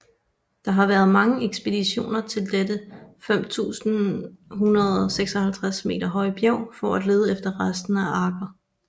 Der har været mange ekspeditioner til dette 5156 m høje bjerg for at lede efter rester af arken